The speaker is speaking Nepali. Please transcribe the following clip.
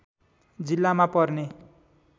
जिल्लामा पर्ने